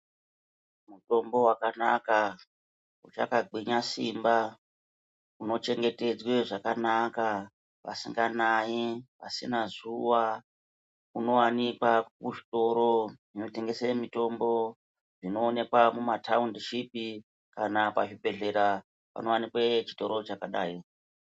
Mutombo wakanaka, uchakagwinya simba, unochengetedzwe zvakanaka, pasinganai mvura, pasina zuwa. Unowanikwa kuzvitoro zvinotengese mitombo, zvinowanikwa mumathaundishipi, kana pazvibhedhlera panowanikwe chitoro zvakadai .